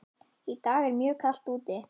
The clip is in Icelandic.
Í dag er mjög kalt úti.